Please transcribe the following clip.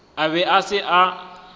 a be a se sa